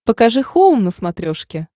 покажи хоум на смотрешке